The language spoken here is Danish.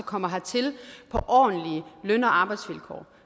kommer hertil på ordentlige løn og arbejdsvilkår